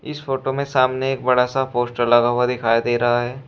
इस फोटो में सामने एक बड़ा सा पोस्टर लगा हुआ दिखाई दे रहा है।